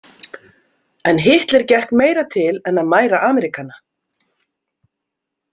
En Hitler gekk meira til en að mæra Ameríkana.